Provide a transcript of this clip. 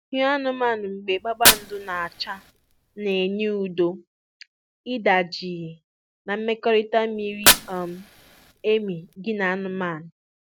hịụ anụmanụ mgbe kpakpando na-acha na-enye udo, ịda jii, na mmekọrịta miri um emi gị na anụmanụ.